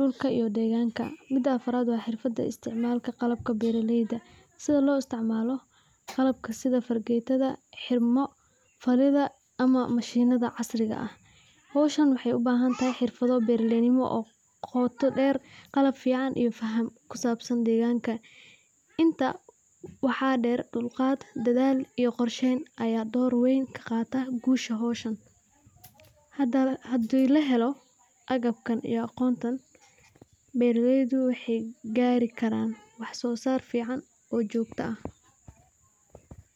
duka iyo deganka, mida afarat wa hirfada isticmalka qalabka beraleyda, sidha losticmalo qalabka sida fargetada ama maahinada casriga ah, howshaan waxay ubahantahay hirfado beraleynimo oo goota deer qalab fican iyo deganka, intaa waxa deer dulgaad dadha iyo qorsheyn aya door weyn kagatan gusha howshaan, hadhi lahelo agabkan iyo agoontan, beraleydu waxsosar fican oo jogto ah.